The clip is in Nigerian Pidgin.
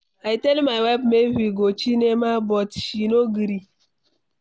I tell my wife make we go cinema but she no gree